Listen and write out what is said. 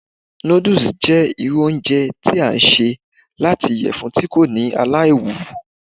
Noodles jẹ iru ounjẹ ti a ṣe lati iyẹfun ti ko ni alaiwu